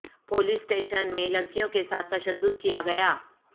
police station میں لڑکیوں کے ساتھ تشدد کیا گیا